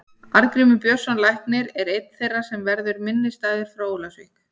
Arngrímur Björnsson læknir er einn þeirra sem verður minnisstæður frá Ólafsvík.